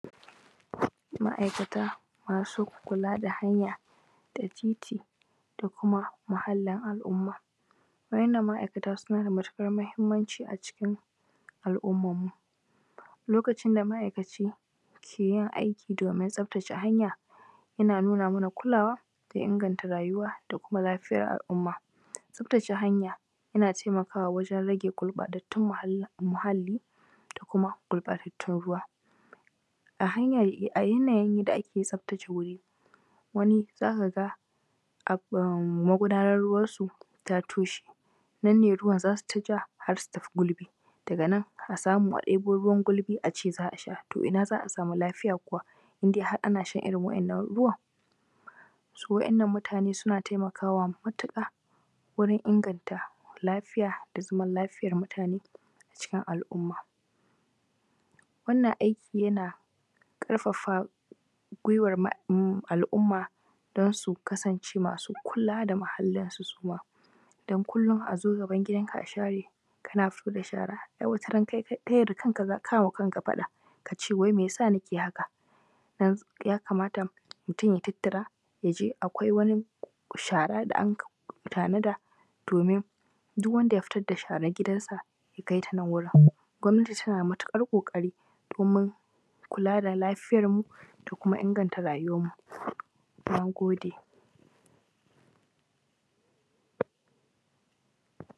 Ma’aikata masu kula da hanya da titi da kuma muhallin al’umma. Wa’yannan ma’akata suna da matuƙar muhimmanci a cikin al’ummanmu. Lokacin da ma’aikacin key i aiki domin tsaftace hanya, yana nuna mana kulawa da inganta rayuwa da kuma lafiyar al’umma. Tsaftace hanya yana taimakawa wajen rage gurɓatattun muhalli da kuma gurɓatattun ruwa. A hanya a yananyin da ake tsaftace wuri, wani z aka ga am magudanan ruwansu ta toshe, nan ne ruwan ruwan za su ta ja har su tafi gulbi, daga nan a samu a ɗebo ruwan gulbi a ce za a sha. To ina za a samu lafiya kuwa, in dai har ana shan irin wannan ruwan. To wa’yannan mutanen suna taimakawa matuƙa, wurin inganta lafiya da zaman lafiyar mutane cikin al’umma. Wannan aiki yana ƙafafa gwuiwar al\umma don su kasance masu kula da muhallansu su ma. Don kullum a zo gaban gidanka a share, kana fito da shhara ai wata ran kai da kanka ka yi wa kanka faɗa. ka ce wai mai ya sa nake yin haka, dan yakamata mutum ya tattara ya je akwai wani shara da aka tanada domin dun wanda ya fito da sharan gidansa ya kai ta nan wurin. Gwamnati tana matuƙar ƙoƙari domin kula da lafiyarmu da kuma inganta rayuwarmu. Na gode.